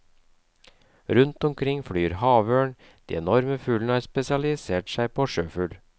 Rundt omkring flyr havørn, de enorme fuglene har spesialisert seg på sjøfugl.